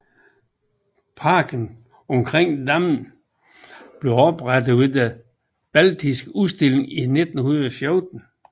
Parken omkring dammene blev oprettet ved Den baltiske Udstilling i 1914